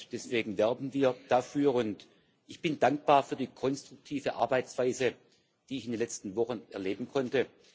Deswegen werben wir dafür, und ich bin dankbar für die konstruktive Arbeitsweise, die ich in letzten Wochen erleben konnte.